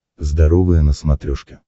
здоровое на смотрешке